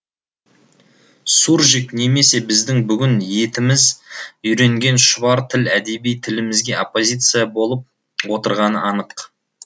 суржик немесе біздің бүгін етіміз үйренген шұбар тіл әдеби тілімізге оппозиция болып отырғаны анық